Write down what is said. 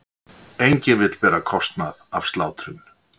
Enginn vill bera kostnað af slátrun